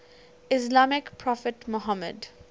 islamic prophet muhammad